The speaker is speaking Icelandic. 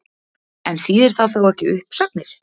En þýðir það þá ekki uppsagnir?